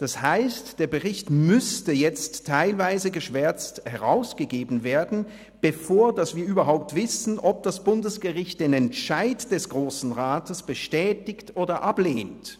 Das heisst, der Bericht müsste jetzt teilweise geschwärzt herausgegeben werden, bevor wir überhaupt wissen, ob das Bundesgericht den Entscheid des Grossen Rats bestätigt oder ablehnt.